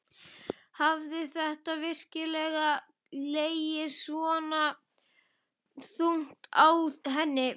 Hafði þetta virkilega legið svona þungt á henni?